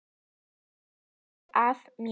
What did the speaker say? Hann er hluti af mér.